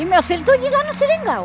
E meus filhos tudo de lá no seringal.